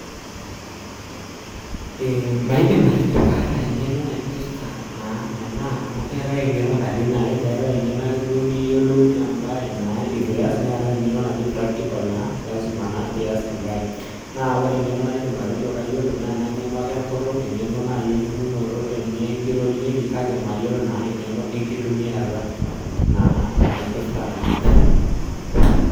Maidim atejo kaata engeno naipirta naa ena, amu keetae engeno katitin are, keetae engeno ake duo niyiolounye embae naa itu ias, neetae engeno naji practical naa lazima pee ias embaye. Naa wore engeno naidim atejo kayiolo naa ena ngeno ake enkutuk, engeno naai eningunoto tenikirorieki kake mayiolo naa engeno enkitumiata naa naipirta ena baye.